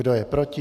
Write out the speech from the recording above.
Kdo je proti?